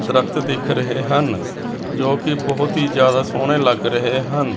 ਦਰੱਖ਼ਤ ਦਿਖ ਰਹੇ ਹਨ ਜੋ ਕਿ ਬਹੁਤ ਹੀ ਜਿਆਦਾ ਸੋਹਣੇ ਲੱਗ ਰਹੇ ਹਨ।